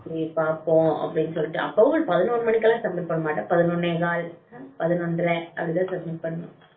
அப்படின்னு சொல்லிட்டு அப்பவும் பதினோரு மணிக்கு எல்லாம் submit பண்ண மாட்டேன் பதினொண்ணே கால் பதினொன்னரை அப்படித்தான் submit பண்ணுவேன்